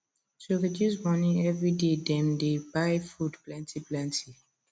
to reduce money every day dem dey buy food plenty plenty